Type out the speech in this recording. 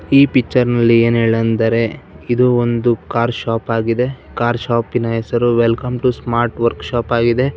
ಈ ಪಿಕ್ಚರ್ ನಲ್ಲಿ ಎನ್ ಹೇಳೆಂದರೆ ಇದು ಒಂದು ಕಾರ್ ಶಾಪ್ ಆಗಿದೆ ಕಾರ್ ಶಾಪಿನ ಹೆಸರು ವೆಲ್ಕಮ್ ಟು ಸ್ಮಾರ್ಟ್ ವರ್ಕೌಶೋಪ್ ಆಗಿದೆ.